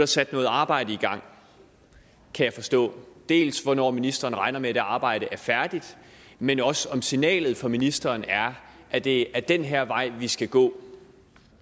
sat noget arbejde i gang kan jeg forstå dels hvornår ministeren regner med at det arbejde er færdigt men også om signalet fra ministeren er at det er den her vej vi skal gå